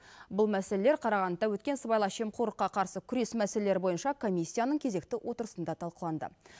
бұл мәселелер қарағандыда өткен сыбайлас жемқорлыққа қарсы күрес мәселелері бойынша комиссияның кезекті отырысында талқыланды